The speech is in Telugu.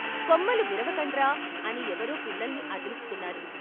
'కొమ్మలు విరవకండ్రా' అని ఎవరో పిల్లల్ని అదిలిస్తున్నారు.